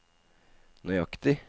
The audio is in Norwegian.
nøyaktig